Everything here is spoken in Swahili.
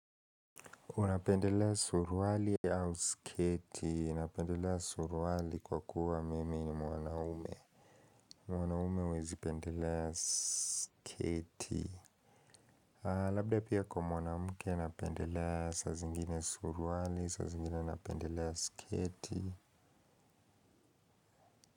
Unapendelea suruali au sketi. Napendelea suruali kwa kuwa mimi ni mwanaume. Mwanaume huwezi pendelea sketi. Labda pia kwa mwanamke anapendelea saa zingine suruali, saa zingine anapendelea sketi.